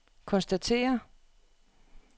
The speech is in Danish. konstaterer